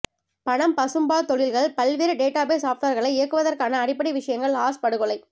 பணம் பசும்பால் தொழில்கள் பல்வேறு டேட்டாபேஸ் சாப்ட்வேர்களை இயக்குவதற்கான அடிப்படை விஷயங்கள் ஆஷ் படுகொலை